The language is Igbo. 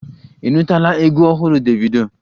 Ị nụtụla egwu ọhụrụ Davido?